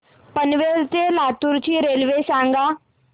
पनवेल ते लातूर ची रेल्वे सांगा